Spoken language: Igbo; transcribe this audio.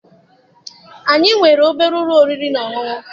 Anyị nwere obere ụlọ oriri na ọṅụṅụ.